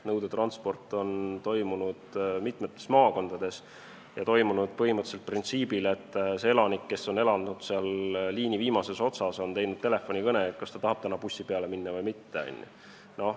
Nõudetransporti on olnud mitmes maakonnas ja see on toimunud põhimõtteliselt printsiibil, et elanik, kes elab liini viimases otsas, teeb telefonikõne ja annab teada, kas ta tahab täna bussi peale minna või mitte.